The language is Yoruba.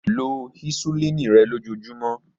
Lo hisulini rẹ lojoojumọ.